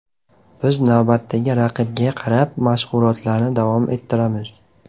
Biz navbatdagi raqibga qarab mashg‘ulotlarni davom ettiramiz.